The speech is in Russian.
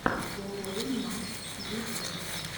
зэ уэймакс в ютюбе